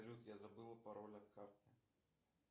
салют я забыла пароль от карты